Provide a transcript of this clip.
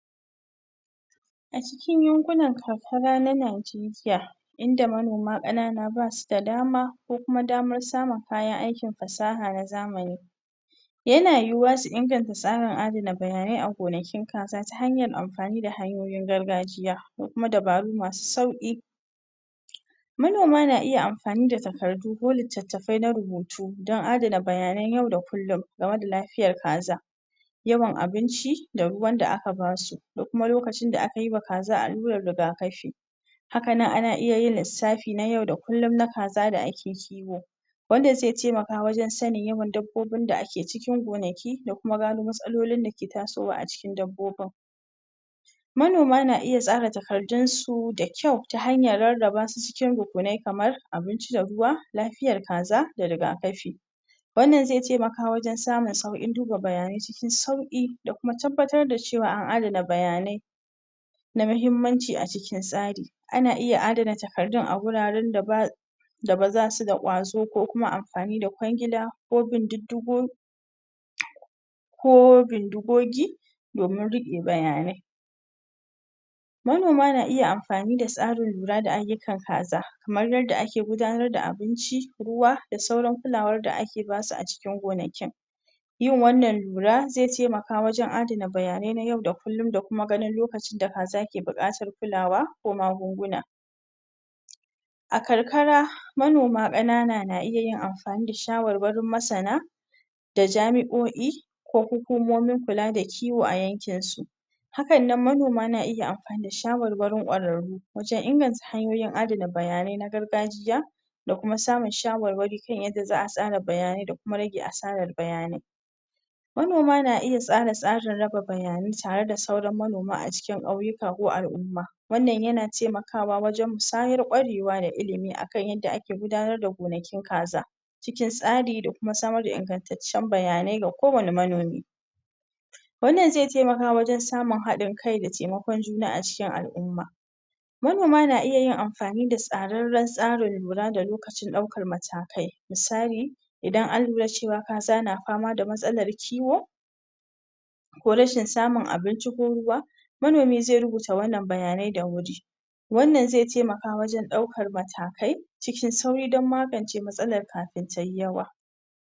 A cikin yankunan kakara na Najeriya inda manoma kanana basu da dama ko kuma damar samar aikin fasaha na zamani Yana yuhuwa su inganta tsarin da bayanai a gonakin ta hanyan amfani da hanyoyin gargajiya kuma dabaru masu sauki Manoma na iya amfani da takardu ko littatafe na rubutu don adana bayanai yau da kulum game da lafiyar kaza. yawan abinci da ruwan da aka basu da kua lokacin da aka yi wa kaza alurar rigakafi haka nan ana iya yin lisafi na yau da kullum na kaza da ake kiwo. wanda ze taimaka wajen sanin yawan dabbobin da ake cikin gonaki da kuma gano matsalolin dake tasowa a cikin dabbobin Manoma na iya tsara takardun su da kyau ta hanyar raraba su cikin rukunai kamar abinci da ruwa, lafiyar kaza da rigakafi. Wannan zai taimaka wajen samun saukin duba bayanai cikin sauki da kuma tabbatar da cewa an adana bayanai na mahimmanci a cikin tsari, ana iya adana takardun a wurare da ba da basu da kwazo ko kuma amfani da kwangila ko binddidigo ko bindigogi domin rike bayanai Manoma na iya amfani da tsarin lura da ayukan kaza kaman yadda ake gudanar da abinci, ruwa da sauran kulawa da ake basu a cikin gonakin. Yin wannan lura zai taimaka wajen adana bayanai na yau da kullum da kuma ganin lokacin da kaza ke bukatan kulawa ko magunguna. A karkara manoma kanana na iya amfani da shawarwarin masana da jami'o'i ko kula da kiwo a yanken su. hakanan manoma na iya amfani da shawarwarin kwararru waajen inganta hanyoyin adana bayanai'n gargajiya da kuma samun shawarwari kan yadda za'a tsara bayanai da kuma rage asaran bayanai Manoma na iya tsara-tsaran raba bayanai tare da sauran manoma a cikin kauyuka ko al'umma. Wannan yana taimakawa wajen kwarewa da illimi akan yadda ake gudanar da gonakin kaza. A cikin tsari da kuma samar da inganttacen bayanai da kowane manomi Wannan zai taimaka wajen samun hadin kai da taimakon juna a cikin al'umma Manoma na iya yin amfani da tsareren tsarin lura da lokacin daukar matakai, misali idan an lura cewa kaza na fama da matsalar kiwo, ko rashin samun abinci ko ruwa, manomi zai rubuta wannan bayanai da wuri